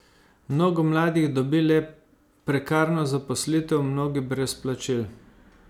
Mnogo mladih dobi le prekarno zaposlitev, mnogi brez plačil.